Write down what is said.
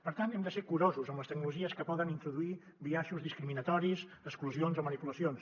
per tant hem de ser curosos amb les tecnologies que poden introduir biaixos discriminatoris exclusions o manipulacions